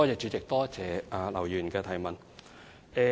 主席，多謝劉議員的補充質詢。